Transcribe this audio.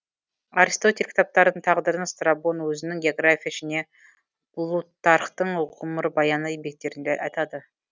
аристотель кітаптарының тағдырын страбон өзінің география және плутархтың ғұмырбаяны еңбектерінде айтады